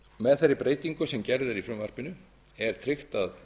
með þeirri breytingu sem gerð er í frumvarpinu er tryggt að